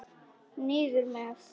Niður með.